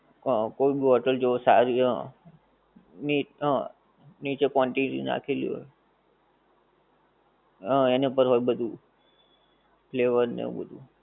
હ કોઈ ભી hotel જો સારી હ ની હા નીચે quantity નાખેલી હોએ હા એને પર હોએ બધુ flavor ને આવું બધુ